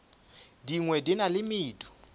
dingwe di na le medu